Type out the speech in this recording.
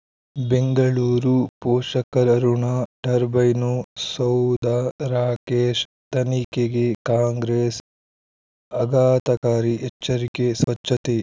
ಬೆಂಗಳೂರು ಪೋಷಕರ ಋಣ ಟರ್ಬೈನು ಸೌಧ ರಾಕೇಶ್ ತನಿಖೆಗೆ ಕಾಂಗ್ರೆಸ್ ಆಘಾತಕಾರಿ ಎಚ್ಚರಿಕೆ ಸ್ವಚ್ಛತೆ